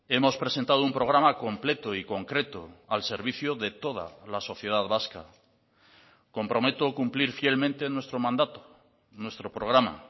hemos presentado un programa completo y concreto al servicio de toda la sociedad vasca comprometo cumplir fielmente nuestro mandato nuestro programa